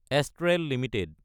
Astral Ltd